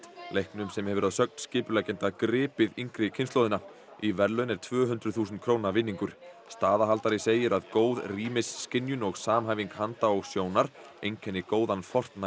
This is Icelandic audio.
leiknum sem hefur að sögn skipuleggjenda gripið yngri kynslóðina í verðlaun er tvö hundruð þúsund króna vinningur staðahaldari segir að góð rýmisskynjun og samhæfing handa og sjónar einkenni góðan